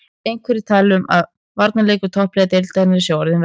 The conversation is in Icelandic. Einhverjir tala um að varnarleikur toppliða deildarinnar sé orðinn verri.